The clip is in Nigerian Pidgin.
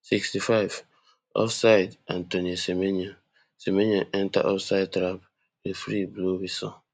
sixty-five offsideantoine semenyo semenyo enta offside trap referee blow whistle